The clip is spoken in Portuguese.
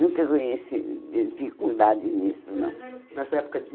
Nessa época nunca conheci dificuldades nisso, não.